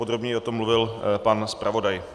Podrobněji o tom mluvil pan zpravodaj.